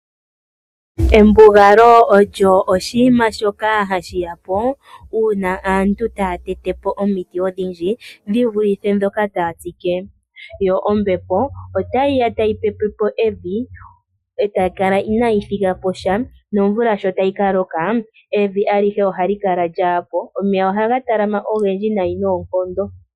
Embugalo olyo oshinima shoka hashi ya po uuna aantu taya tete po omiti odhindji dhi vulithe ndhoka taya tsike, yo ombepo otayi ya tayi pepe po evi e tayi kala inayi thiga po sha nomvula sho tayi ka loka, evi alihe ohali kala lyaa po. Omeya ohaga talama ogendji noonkondo.